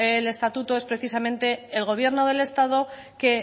el estatuto es precisamente el gobierno del estado que